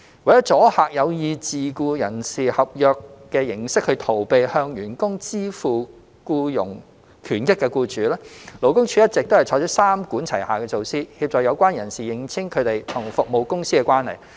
為阻嚇有意藉自僱人士合約逃避向員工支付僱傭權益的僱主，勞工處一直採取三管齊下的措施，協助相關人士認清他們與服務公司的關係。